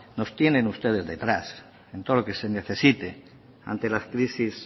nos tienen ustedes detrás en todo lo que se necesite ante las crisis